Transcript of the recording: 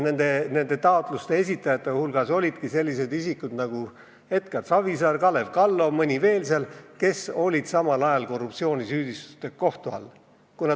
Nende esitajate hulgas olidki sellised isikud nagu Edgar Savisaar, Kalev Kallo ja mõni veel, kes olid samal ajal korruptsioonisüüdistustega kohtu all.